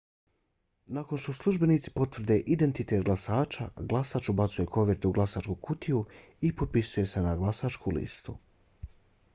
nakon što službenici potvrde identitet glasača glasač ubacuje kovertu u glasačku kutiju i potpisuje se na glasačku listu